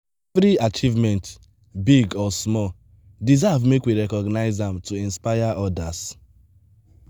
every achievement big or small deserve make we recognize am to inspire us.